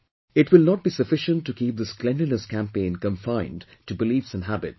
It will not be sufficient to keep this Cleanliness Campaign confined to beliefs and habits